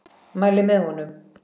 Mæli með honum.